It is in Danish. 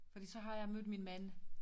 Fordi så har jeg mødt min mand